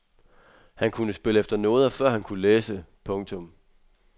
Han kunne spille efter noder før han kunne læse. punktum